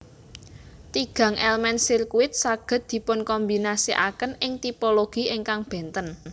Tigang elemen sirkuit saged dipunkombinasikaken ing tipologi ingkang benten